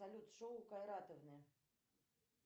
салют шоу кайратовны